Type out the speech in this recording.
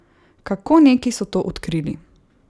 Kako neki so to odkrili?